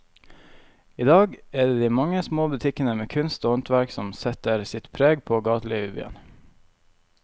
I dag er det de mange små butikkene med kunst og håndverk som setter sitt preg på gatelivet i byen.